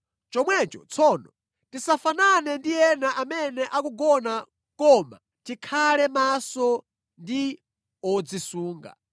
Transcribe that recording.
Chomwecho tsono, tisafanane ndi ena amene akugona koma tikhale maso ndi odzisunga.